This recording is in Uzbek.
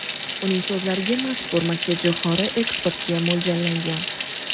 Uning so‘zlariga mazkur makkajo‘xori eksportga mo‘ljallangan.